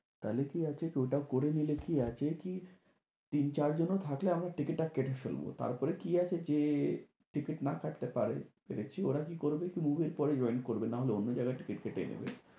তাহলে কি আছে ওটা করে নিলে কি আছে কি? তিন চার জনও থাকলে আমরা টিকিটটা কেটে ফেলবো। তারপরে কি আছে? যে টিকিট না কাটতে পারে তো দেখছি ওরা কি করবে? join করবে নাহলে অন্য জায়গায় টিকিট কেটে নেবে।